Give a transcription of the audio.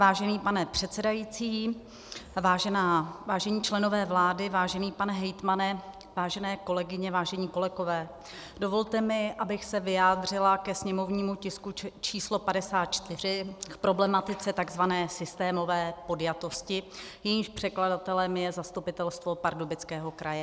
Vážený pane předsedající, vážení členové vlády, vážený pane hejtmane, vážené kolegyně, vážené kolegové, dovolte mi, abych se vyjádřila ke sněmovnímu tisku číslo 54, k problematice takzvané systémové podjatosti, jejímž předkladatelem je zastupitelstvo Pardubického kraje.